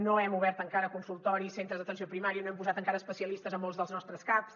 no hem obert encara consultoris centres d’atenció primària no hem posat encara especialistes en molts dels nostres caps